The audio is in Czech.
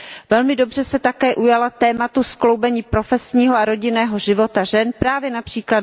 Velmi dobře se také ujala tématu skloubení profesního a rodinného života žen právě např.